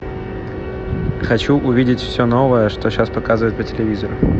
хочу увидеть все новое что сейчас показывают по телевизору